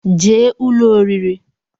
jee ụlọ oriri!